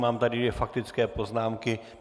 Mám tady dvě faktické poznámky.